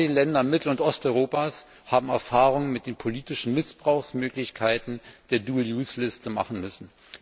Gerade in den Ländern Mittel und Osteuropas haben wir Erfahrungen mit den politischen Missbrauchsmöglichkeiten der Dual Use Liste machen müssen.